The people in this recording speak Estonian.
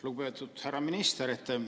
Lugupeetud härra minister!